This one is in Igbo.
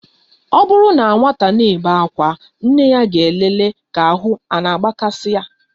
Ọ bụrụ na nwata ana-ebe akwa, nne ya ga-elele ka ahụ a na-agbakasị ya.